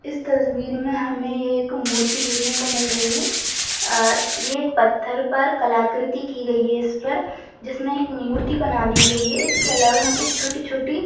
इस तस्वीर में हमें एक मूर्ति देखने को मिल रही है आ ये एक पत्थर पर कलाकृति कि गई है इस पर जिसने एक मूर्ति बना दी गई है इसके अलावा यहाँ पर छोटी-छोटी--